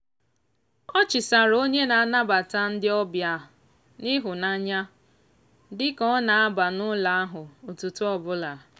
ọ chịsaara onye na-anabata ndị obịa n'ịhụnanya dị ka ọ na-aba n'ụlọ ahụ ụtụtụ ọbụla.